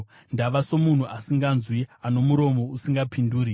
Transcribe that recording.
ndava somunhu asinganzwi, ano muromo usingapinduri.